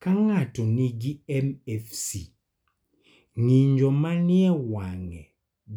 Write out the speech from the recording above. Ka ng�ato nigi MFC, ng�injo ma ni e wang�e